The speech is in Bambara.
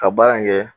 Ka baara in kɛ